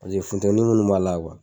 Paseke futɛnin munnu b'a la